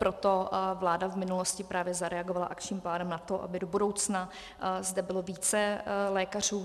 Proto vláda v minulosti právě zareagovala akčním plánem na to, aby do budoucna zde bylo více lékařů.